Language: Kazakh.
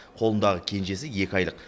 қолындағы кенжесі екі айлық